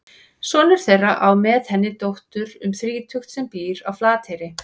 Sonur þeirra á með henni dóttur um þrítugt sem býr á Flateyri.